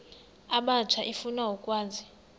abatsha efuna ukwazi